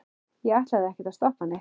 ég ætlaði ekkert að stoppa neitt.